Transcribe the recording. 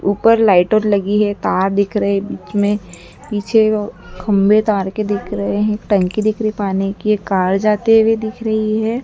ऊपर लाइटर लगी है तार दिख रहे हैं बीच में पीछे खंभे तार के दिख रहे हैं एक टंकी दिख रही है पानी की एक कार जाते हुए दिख रही है।